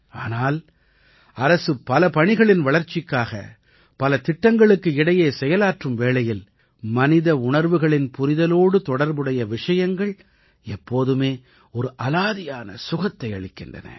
ஆனால் அரசு பல பணிகளின் வளர்ச்சிக்காக பல திட்டங்களுக்கு இடையே செயலாற்றும் வேளையில் மனித உணர்வுகளின் புரிதலோடு தொடர்புடைய விஷயங்கள் எப்போதுமே ஒரு அலாதியான சுகத்தை அளிக்கின்றன